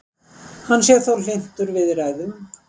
Hann sé þó hlynntur viðræðum